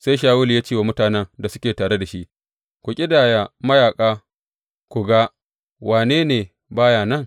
Sai Shawulu ya ce wa mutanen da suke tare da shi, Ku ƙidaya mayaƙa ku ga wane ne ba ya nan.